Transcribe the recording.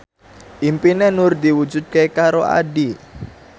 impine Nur diwujudke karo Addie